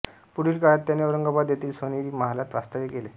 पुढील काळात त्याने औरंगाबाद येथील सोनेरी महालात वास्तव्य केले